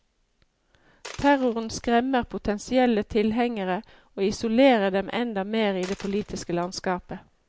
Terroren skremmer potensielle tilhengere og isolerer dem enda mer i det politiske landskapet.